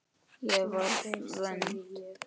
Ég var vond.